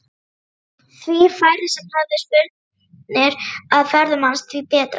Því færri sem höfðu spurnir af ferðum hans því betra.